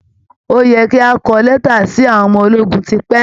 Ó yẹ kí ẹ ti kọ lẹ́tà sí àwọn ọmọ ológun tipẹ́!